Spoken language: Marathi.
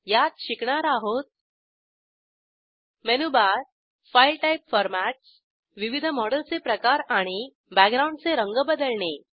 यात शिकणार आहोत menu bar file type formats विविध मॉडेलचे प्रकार आणि बॅकग्राऊंडचे रंग बदलणे